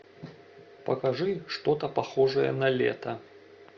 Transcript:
покажи что то похожее на лето